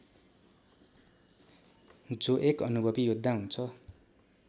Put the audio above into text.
जो एक अनुभवि योद्धा हुन्छ